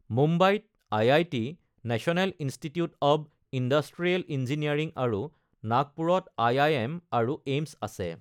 মুম্বাইত IIT., national institute of industrial engineering আৰু নাগপুৰত আই.আই.এম. আৰু এইমছ আছে।